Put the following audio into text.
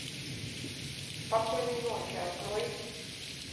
спокойной ночи открой